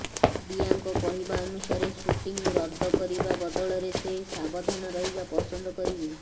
ଦିୟାଙ୍କ କହିବା ଅନୁସାରେ ଶୁଟିଂ ରଦ୍ଦ କରିବା ବଦଳରେ ସେ ସାବଧାନ ରହିବା ପସନ୍ଦ କରିବେ